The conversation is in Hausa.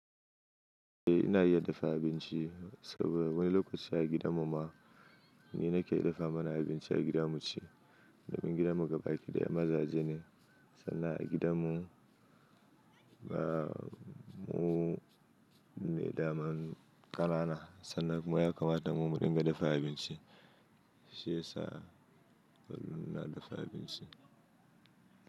Eh ina iya dafa abinci, saboda wani lokaci a gidan mu ma ni nake dafa mana abinci a gida mu ci. Domin gidan mu gabaki ɗaya mazaje ne sannan a gidan mu ba mu ne daman ƙanana, sannan kuma ya kamata mu muɗin ga dafa abinci, shiyasa mun na dafa abinci.